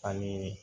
Ani